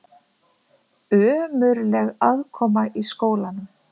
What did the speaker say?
Ömurleg aðkoma að skólanum